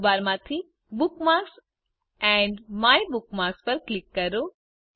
menu બારમાંથી bookmarks and my bookmarks પર click કરો